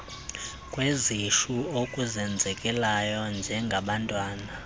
kwezisu okuzenzekelayo njengabantwana